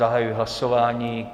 Zahajuji hlasování.